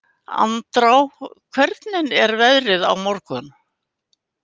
Andrá, hvernig er veðrið á morgun?